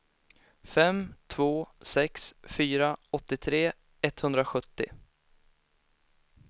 fem två sex fyra åttiotre etthundrasjuttio